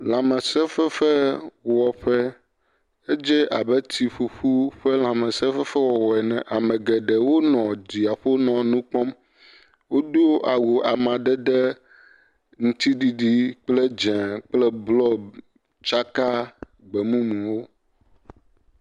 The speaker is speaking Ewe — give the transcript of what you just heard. Lã mese fefefe wɔƒe. Edze abe tsi ƒuƒu ƒe lã mese fefefe wɔwɔ ene Ame geɖewo nɔ dzia ƒo nɔ nu kpɔm. Wodo awu amadede ŋutiɖiɖi kple bluɔ kple dzɛ tsaka gbemumu wò.